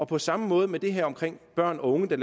på samme måde med børn og unge der